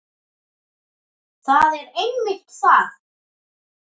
Það er einmitt það.